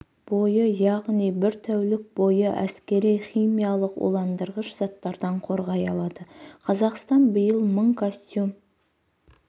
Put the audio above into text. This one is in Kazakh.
бойы яғни бір тәулік бойы әскери химиялық уландырғыш заттардан қорғай алады қазақстан биыл мың костюм